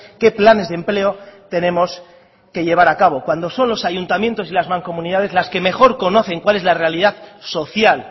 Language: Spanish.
qué planes de empleo tenemos que llevar a cabo cuando son los ayuntamientos y las mancomunidades las que mejor conocen cuál es la realidad social